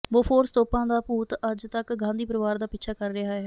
Bofors ਤੋਪਾਂ ਦਾ ਭੂਤ ਅੱਜ ਤਕ ਗਾਂਧੀ ਪਰਿਵਾਰ ਦਾ ਪਿੱਛਾ ਕਰ ਰਿਹਾ ਹੈ